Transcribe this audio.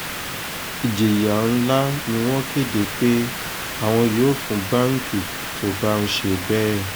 ìjìyà ńlá ni wọ́n kéde pé àwọn yóò fún báǹkì tó bá ń ṣe bẹ́ẹ̀